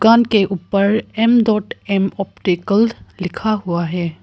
दुकान के ऊपर एम डॉट एम ऑप्टिकल लिखा हुआ है।